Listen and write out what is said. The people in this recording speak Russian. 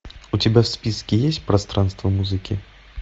у тебя в списке есть пространство музыки